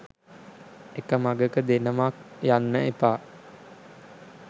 එක මඟක දෙනමක් යන්න එපා.